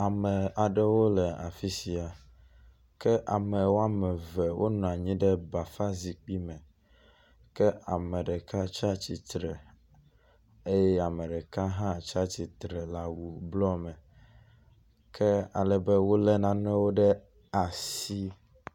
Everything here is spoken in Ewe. Ame aɖewo le afishia ke ame woameve wó nɔnyi ɖe bafa zikpi me ke ame ɖeka tsiatsitsre eye ameɖeka hã tsiatsitsre le awu blɔ me ke alebe wóle nanewo ɖe asi